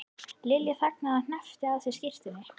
Lilja þagði og hneppti að sér skyrtunni.